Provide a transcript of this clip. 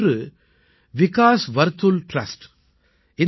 இவற்றில் ஒன்று விகாஸ் வர்த்துல் ட்ரஸ்ட்